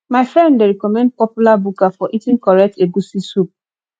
my friend dey recommend popular buka for eating correct egusi soup